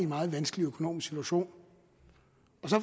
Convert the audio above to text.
meget vanskelig økonomisk situation